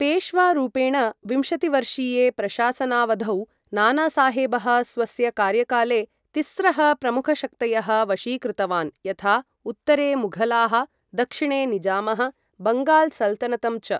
पेश्वारूपेण विंशतिवर्षीये प्रशासनावधौ, नानासाहेबः स्वस्य कार्यकाले तिस्रः प्रमुखशक्तयः वशीकृतवान् यथा उत्तरे मुघलाः, दक्षिणे निजामः, बङ्गाल सल्तनतं च।